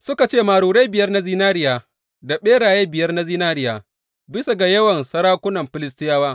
Suka ce, Marurai biyar na zinariya da ɓeraye biyar na zinariya bisa ga yawan sarakunan Filistiyawa.